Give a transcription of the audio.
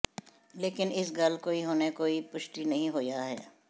ਲੇਕਿਨ ਇਸ ਗੱਲ ਕੋਈ ਹੁਣੇ ਕੋਈ ਪੁਸ਼ਟੀ ਨਹੀਂ ਹੋਈਆਂ ਹੈ